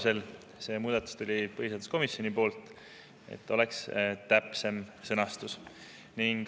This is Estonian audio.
Selle muudatuse põhiseaduskomisjon selleks, et oleks täpsem sõnastus.